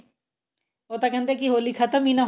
ਉਹ ਤਾਂ ਕਹਿੰਦੇ ਹੋਲੀ ਖਤਮ ਹੀ ਨਾ ਹੋਵੇ